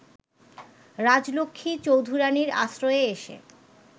রাজলক্ষ্মী চৌধুরানীর আশ্রয়ে এসে